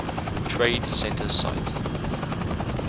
trade center site